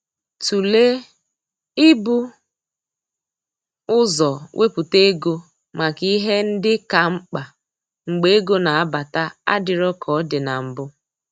Tụlee i bu ụzọ wepụta ego maka ihe ndị ka mkpa mgbe ego na-abata adịro ka ọ dị na mbụ